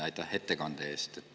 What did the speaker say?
Aitäh ettekande eest!